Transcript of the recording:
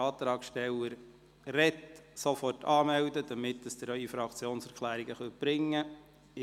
Wenn der Antragstellende spricht, können Sie sich sofort anmelden, damit Sie ihre Fraktionserklärungen vorbringen können.